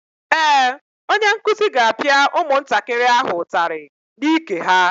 Ee, onye nkuzi ga-apịa ụmụntakịrị ahụ ụtarị n'ike ha.